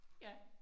Ja